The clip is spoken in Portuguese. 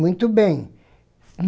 Muito bem.